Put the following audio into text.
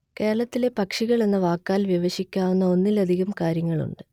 കേരളത്തിലെ പക്ഷികൾ എന്ന വാക്കാൽ വിവക്ഷിക്കാവുന്ന ഒന്നിലധികം കാര്യങ്ങളുണ്ട്